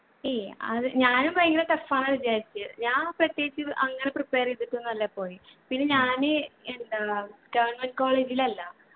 ഏയ് അത് ഞാനും വയങ്കര tough ആണാ വിചാരിച്ചേ ഞാൻ പ്രത്യേകിച്ച് അങ്ങനെ prepare എയ്തിട്ടൊന്നു അല്ല പോയെ. പിന്നെ ഞാന് എന്താ government college ഇലല്ല.